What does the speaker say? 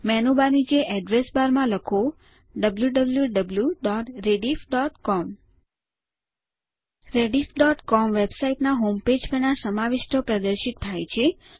menu bar નીચે address બારમાં આ લખો160 wwwrediffcom rediffસીઓએમ વેબસાઇટના હોમ પેજ પરના સમાવિષ્ટો પ્રદર્શિત થાય છે